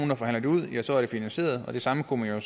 der forhandler det ud ja så er det finansieret og det samme kunne man jo